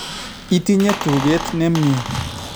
Itinye tugeet nemye